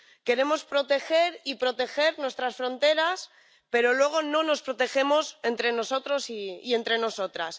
Queremos proteger y proteger nuestras fronteras, pero luego no nos protegemos entre nosotros y entre nosotras.